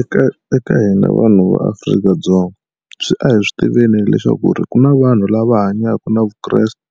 Eka eka hina vanhu va Afrika-Dzonga swi a hi swi tiveni leswaku ri ku na vanhu lava hanyaka na vukreste